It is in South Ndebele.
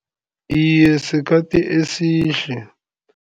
Iye, sikhathi esihle.